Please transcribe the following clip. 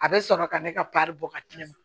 A bɛ sɔrɔ ka ne ka bɔ ka di ne ma